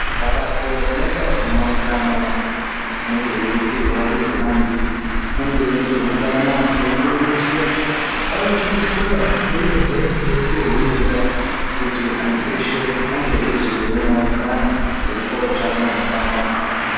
Mabato anoita zvemaungano anenge eiitirwa kuzi antu ange eizoungana eifundiswa anosisira uyehe eikohomedza kuti antu eshe ange eizooonawo mukana wekupuwe utano hwakanaka.